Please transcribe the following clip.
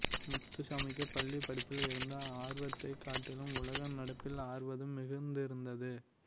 முத்துசாமிக்கு பள்ளி படிப்பில் இருந்த ஆர்வத்தை காட்டிலும் உலக நடப்பில் ஆர்வம் மிகுந்திருந்தது